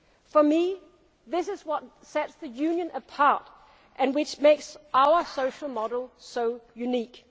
we have to be guided by our vision for the society that we want to create. For me, this